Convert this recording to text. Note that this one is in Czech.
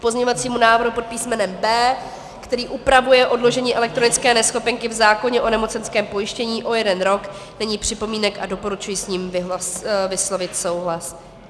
K pozměňovacímu návrhu pod písmenem B, který upravuje odložení elektronické neschopenky v zákoně o nemocenském pojištění o jeden rok, není připomínek a doporučuji s ním vyslovit souhlas.